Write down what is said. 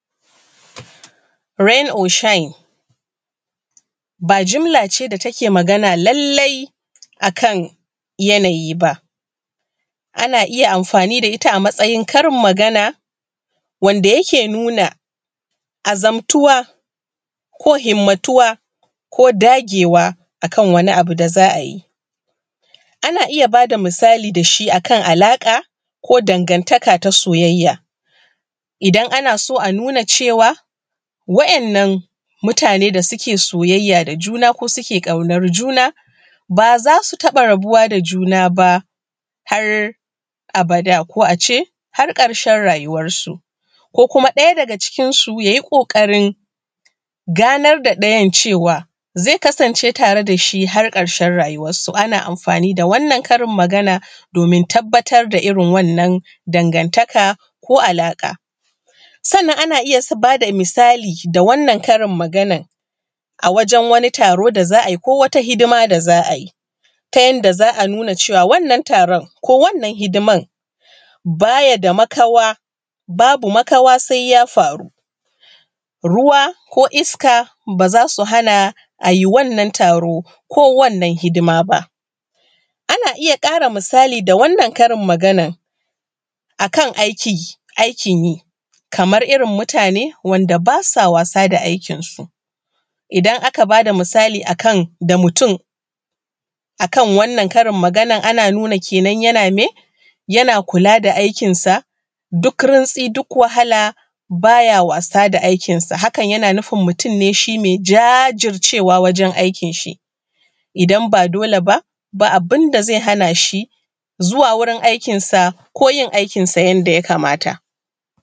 Rain or shine ba jimla ce da take Magana lallai a kan yanayi ba ana amfani da ita a matsayin karin magana wanda yake nuna azamtuwa ko himmatuwa ko dagewa a kan wani abu da za a yi ana iya ba da misali da shi a kan alaƙa, ko dangantaka ta soyayya. Idan ana so a nuna cewa wa’innan mutane da suke soyayya da juna ko suke ƙaunar juna ba za su taɓa rabuwa da juna ba har abada ko a ce har ƙarshen rayuwarsu. Ko kuma ɗaya daga cikinsu ya yi ƙoƙarin ganar da ɗayan cewa zai kasance tare da shi har ƙarshen rayuwarsu. Ana amfani da wannan karin magana domin tabbatar da irin wannan dangantaka ko alaƙa. Sannan ana iya ba da misali da wannan Karin maganar a wajen wani taro da za a yi ko wata hidima da za a yi, ta yanda za a nuna cewa wannan taron ko wannan hidimar ba ya da makawa, babu makawa sai ya faru. Ruwa ko iska ba za su hana a yi wannan taro ko wannan hidima ba. ana iya ƙara misali da wannan Karin maganar a kan aiki, aikin yi kamar irin mutane wanda ba sa wasa aikinsu. Idan aka ba da misali akan da mutum akan wannan karin maganar ana nuna kenan yana me? Yana kula da aikinsa duk rintsi duk wahala bay a wasa da aikinsa. Han yana nufin mutum ne shi mai jajircewa wajen aikin shi, idan ba dole b aba abun da zai hana shi zuwa wurin aikinsa ko yin aikinsa yanda ya kamata.